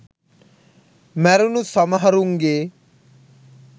මැරුණු සමහරුන්ගේ